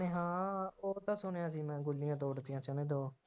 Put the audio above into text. ਅਤੇ ਹਾਂ ਉਦੋਂ ਤਾਂ ਸੁਣਿਆ ਸੀ ਮੈਂ ਗੱਡੀਆਂ ਤੋੜਤੀਆਂ ਕਹਿੰਦੇ ਜਦੋਂ